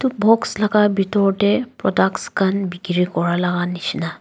box laga bithor tae products khan bikiri kura laga neshina.